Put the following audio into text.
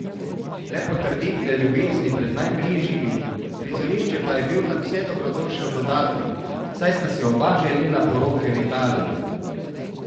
Le potrditve ljubezni pred najbližjimi, prizorišče pa je bil nadvse dobrodošel dodatek, saj sta si oba želela poroke v Italiji.